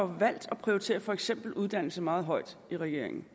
valgt at prioritere for eksempel uddannelse meget højt i regeringen